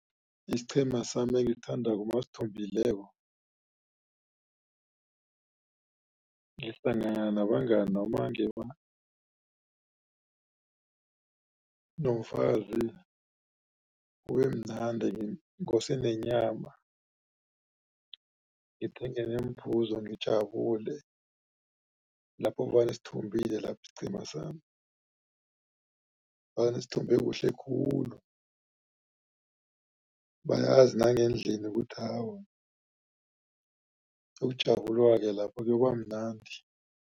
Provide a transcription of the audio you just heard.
Isiqhema sami engisithandako masithumbileko nomfazi kubemnandi ngose nenyama ngithenge neemphuzo ngijabule lapho vane sithumbile lapho isiqhema sami vane sithumbe kuhle khulu bayazi nangendlini ukuthi awa koyokujabulwa-ke lapho kuyobamnandi.